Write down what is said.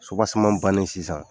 bannen sisan